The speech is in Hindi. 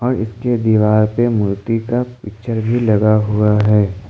इसके दीवार पे मूर्ति का पिक्चर भी लगा हुआ है।